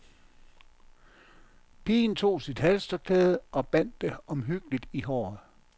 Pigen tog sit halstørklæde og bandt det omhyggeligt i håret.